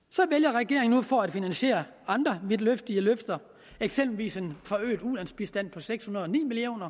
nu for at finansiere andre vidtløftige løfter eksempelvis en forøget ulandsbistand på seks hundrede og ni million